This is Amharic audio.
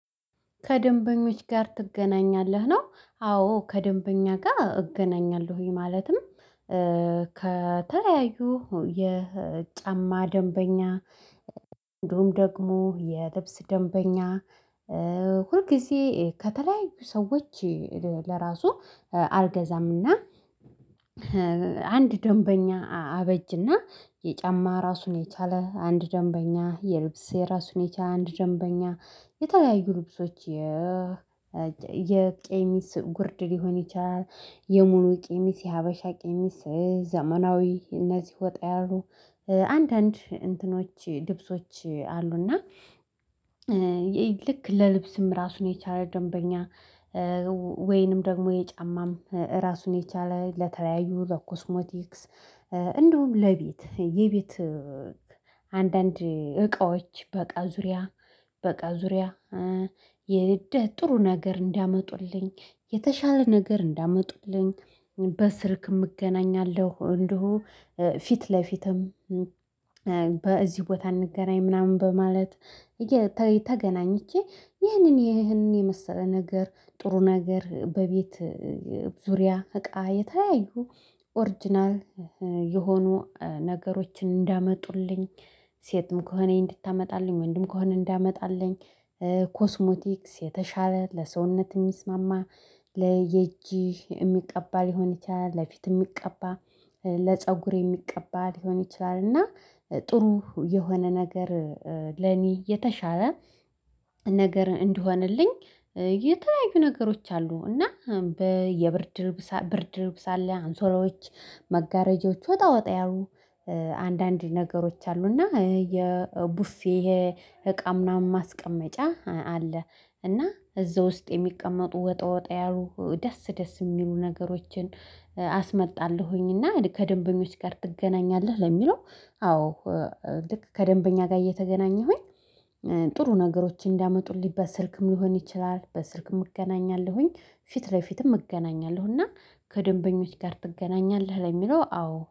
ከደንበኞች ጋር ትገናኛለህ? ነው አዎ ከደንበኛ ጋር እገናኛለሁኝ። ማለትም ከተለያዩ የጫማ ደንበኛ እንዲሁም ደግሞ የልብስ ደንበኛ ሁልጊዜ ከተለያዩ ሰዎች። ለራሱ አልገዛምና አንድ ደንበኛ አበጅና የጫማ ራሱን የቻለ አንድ ደንበኛ የልብስ የራሱን የቻለ አንድ ደንበኛ የተለያዩ ልብሶች የ የቀሚስ ጉርድ ሊሆን ይችላል። የሙሉ ቀሚስ የሀበሻ ቀሚስ ዘመናዊ እነዚህ ወጣ ያሉ አንዳንድ እንትኖች ልብሶች አሉና። እና ልክ ለልብስም ራሱን የቻለ ደንበኛ ወይንም ደግሞ የጫማም ራሱን የቻለ ለተለያዩ ለኮስሞቲክስ እንደውም ለቤት የቤት አንዳንድ እቃዎች በቃ ዙሪያ በቃ ዙሪያ ጥሩ ነገር እንዲያጡልኝ የተሻለ ነገር እንዲያመጡልኝ በስልክም እገናኛለሁ። እንዲሁ ፊት ለፊትም በዚህ ቦታ አንገናኝ ምናምን በማለት ይሄ ተገናኝቼ ይሄንን ይሄንን የመሰለ ነገር ጥሩ ነገር በቤት ዙሪያ እቃ የተለያዩ ኦሪጅናል የሆኑ ነገሮችን እንዲያመጡልኝ ሴትም ከሆነች እንድታመጣልኝ ወንድም ከሆነ እንዲያመጣልኝ። ኮስሞቲክስ የተሻለ ለሰውነት የሚስማማ ለእጅ የሚቀባ ሊሆን ይችላል ለፊት የሚቀባ ለፀጉር የሚቀባ ሊሆን ይችላል። እና ጥሩ የሆነ ነገር ለኔ የተሻለ ነገር እንዲሆንልኝ የተለያዩ ነገሮች አሉ እና በየብርድ ብርድልብስ አለ አንሶላዎች መጋረጃዎች ወጣ ወጣ ያሉ አንዳንድ ነገሮች አሉና የቡፌ የእቃም ምናምን ማስቀመጫ አለ። እና እዛ ውስጥ የሚቀመጡ ወጣ ወጣ ያሉ ደስ ደስ የሚሉ ነገሮችን አስመጣለሁኝና። ከደንበኞች ጋር ትገናኛለህ? ለሚለው አዎ ልክ ከደንበኛ ጋር እየተገናኘሁኝ ጥሩ ነገሮችን እንዲያመጡልኝ በስልክም ሊሆን ይችላል በስልክም እገናኛለሁኝ ፊት ለፊትም እገናኛለሁ። እና ከደንበኞች ጋር ትገናኛለህ ለሚለው አዎ